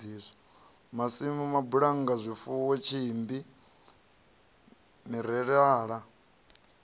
masimu mabulannga zwifuwo tsimbi mirerala